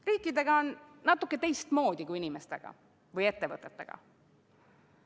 Riikidega on natuke teistmoodi kui inimeste või ettevõtetega.